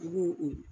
I b'o o